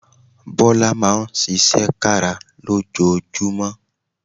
Bọ́lá Máa ń ṣiṣẹ́ kára lójoojúmọ́